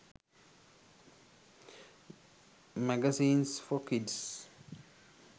magazines for kids